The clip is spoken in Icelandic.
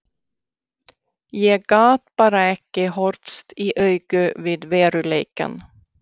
Ég gat bara ekki horfst í augu við veruleikann.